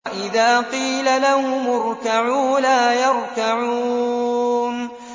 وَإِذَا قِيلَ لَهُمُ ارْكَعُوا لَا يَرْكَعُونَ